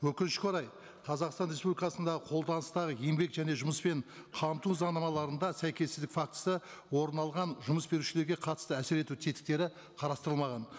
өкінішке орай қазақстан республикасындағы қолданыстағы еңбек және жұмыспен қамту заңнамаларында сәйкессіздік фактісі орын алған жұмыс берушілерге қатысты әсер ету тетіктері қарастырылмаған